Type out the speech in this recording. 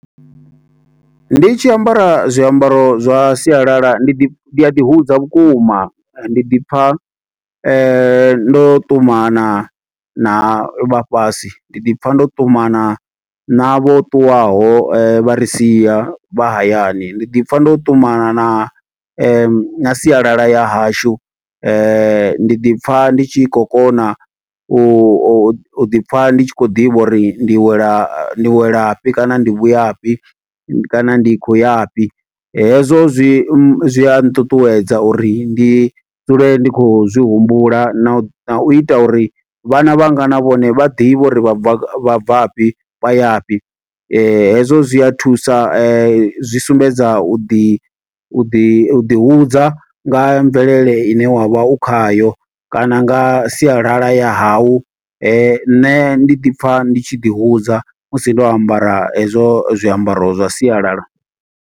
Ndi tshi ambara zwiambaro zwa sialala, ndi ḓi, ndi a ḓi hudza vhukuma. Ndi ḓi pfa ndo ṱumana na vhafhasi, ndi ḓi pfa ndo ṱumana na vho ṱuwaho vha ri sia vha hayani. Ndi ḓi pfa ndo ṱumana na na sialala ya hashu, ndi ḓi pfa ndi tshi khou kona, u ḓi pfa ndi tshi khou ḓivha uri ndi wela, ndi wela fhi kana ndi vhuya fhi. Kana ndi khou yafhi, hezwo zwi zwi a nṱuṱuwedza uri ndi dzule ndi khou zwi humbula na u, na u ita uri vhana vhanga na vhone vha ḓivhe uri vha bva ga, vha bva fhi, vhaya fhi. Hezwo zwi a thusa, zwi sumbedza u ḓi, u ḓi u ḓi hudza nga mvelele ine wavha u khayo, kana nga sialala ya hau. Nṋe ndi ḓi pfa ndi tshi ḓi hudza, musi ndo ambara hezwo zwiambaro zwa sialala.